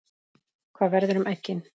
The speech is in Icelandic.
Hvað verður um eggin?